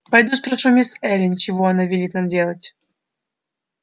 пойду спрошу мисс эллин чего она велит нам надеть